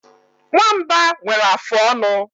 Nwamba nwere afụ ọnụ.